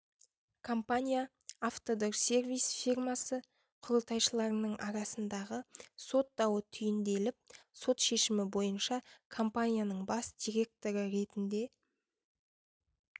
компания автодорсервис фирмасы құрылтайшыларының арасындағы сот дауы түйінделіп сот шешімі бойынша компанияның бас директоры ретінде